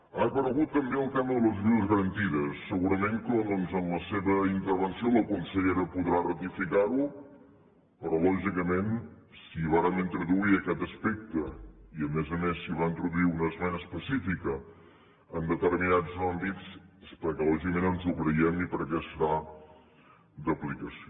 ha aparegut també el tema de les ajudes garantides segurament que doncs en la seva intervenció la consellera podrà ratificar ho però lògicament si vàrem introduir aquest aspecte i a més a més s’hi va introduir una esmena específica en determinats àmbits és perquè lògicament ens ho creiem i perquè serà d’aplicació